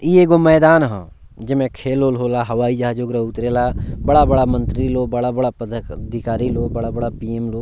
इ एगो मैदान ह जेमे खेल-उल होला हवाई जहाज ओकरा उतरेला बड़ा-बड़ा मंत्री लोग बड़ा-बड़ा पदाधिकारी लो बड़ा-बड़ा पी.एम. लो।